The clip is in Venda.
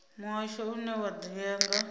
muhasho une wa ḓivhea nga